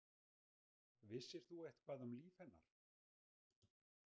Vissir þú eitthvað um líf hennar?